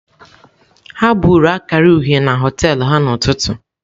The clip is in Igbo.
Ha buru akara uhie na họtel ha n'ụtụtụ.